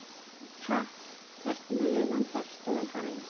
Ha, varstu með rauðan barðastóran hatt?